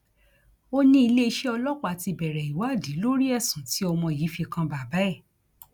ó ní iléeṣẹ ọlọpàá ti bẹrẹ ìwádìí lórí ẹsùn tí ọmọ yìí fi kan bàbá ẹ